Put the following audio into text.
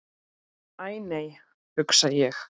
Æ, nei hugsa ég.